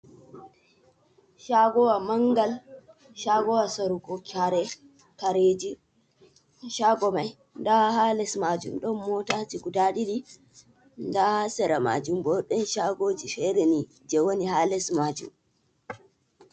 Shagowa mangal shagowa sarugo kare ,kareji shago mai ɗa ha les majum ɗon motajii guɗa ɗiɗi, ɗah sera majum ɓo ɗon shagoji fereni je woni ha les majum.